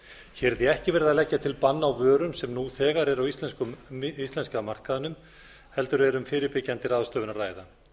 hér er því ekki verið að leggja til bann á vörum sem nú þegar eru á íslenska markaðnum heldur er um fyrirbyggjandi ráðstöfun að ræða